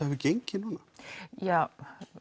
hefur gengið núna ja